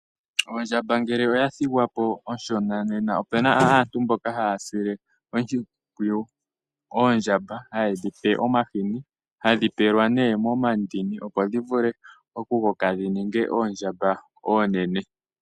Ondjamba ngele oya thigwa po onshona nena opuna aantu mboka haya sile oondjamba oshimpwiyu hayedhi pe omahini, hadhi pelwa nee momandini opo dhi vule okukoka dhi ninge oondjamba oonene.